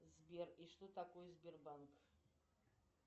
сбер и что такое сбербанк